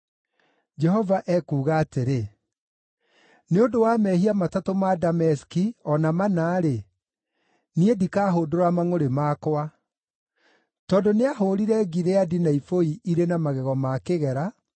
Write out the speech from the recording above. Jehova ekuuga atĩrĩ: “Nĩ ũndũ wa mehia matatũ ma Dameski, o na mana-rĩ, niĩ ndikahũndũra mangʼũrĩ makwa. Tondũ nĩahũũrire Gileadi na ibũi irĩ na magego ma kĩgera,